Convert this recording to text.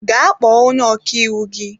Gaa kpọọ onye ọkàiwu gị!